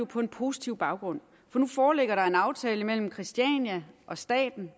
på en positiv baggrund for nu foreligger der en aftale mellem christiania og staten